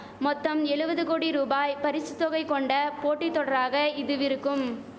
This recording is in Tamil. மொத்தம் எழுவது கோடி ரூபாய் பரிசு தொகை கொண்ட போட்டி தொடராக இதுவிருக்கும்